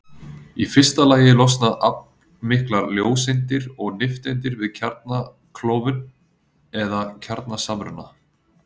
í fyrsta lagi losna aflmiklar ljóseindir og nifteindir við kjarnaklofnun eða kjarnasamruna